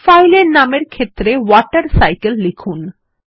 ফাইলের নামের ক্ষেত্রে ওয়াটারসাইকেল লিখুন